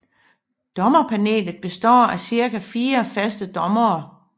Dommerpanelet består af ca fire faste dommere